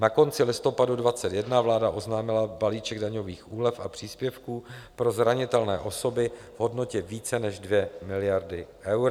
Na konci listopadu 2021 vláda oznámila balíček daňových úlev a příspěvků pro zranitelné osoby v hodnotě více než 2 miliardy eur.